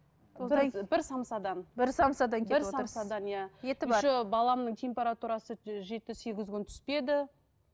бір самсадан бір самсадан кетіп еще баламның температурасы жеті сегіз күн түспеді